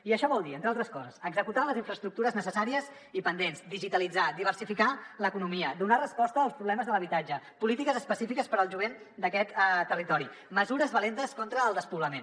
i això vol dir entre altres coses executar les infraestructures necessàries i pendents digitalitzar diversificar l’economia donar resposta als problemes de l’habitatge polítiques específiques per al jovent d’aquest territori mesures valentes contra el despoblament